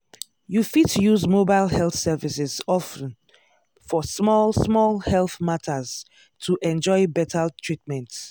you fit use mobile health services of ten for small small health matters to enjoy better treatment.